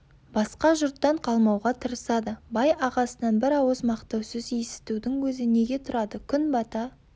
басқа жұрттан қалмауға тырысады бай ағасынан бір ауыз мақтау сөз есітудің өзі неге тұрады күн бата